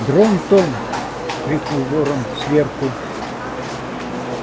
дрон-тон крикнул ворон сверху